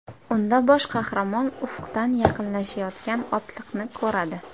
Unda bosh qahramon ufqdan yaqinlashayotgan otliqni ko‘radi.